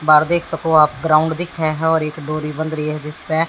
बाहर देख सको आप ग्राउंड दिखे है और एक डोरी बंध रही है जिस पे--